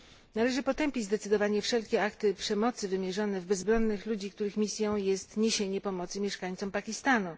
Należy zdecydowanie potępić wszelkie akty przemocy wymierzone w bezbronnych ludzi, których misją jest niesienie pomocy mieszkańcom Pakistanu!